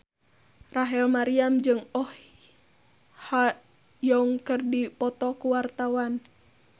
Rachel Maryam jeung Oh Ha Young keur dipoto ku wartawan